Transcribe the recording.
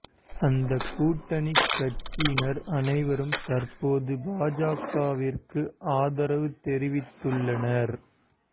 அந்த கூட்டணிக் கட்சியினர் அனைவரும் தற்போது பாஜகவிற்கு ஆதரவு தெரிவித்துள்ளனர்